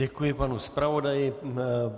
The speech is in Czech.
Děkuji panu zpravodaji.